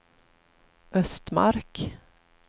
Östmark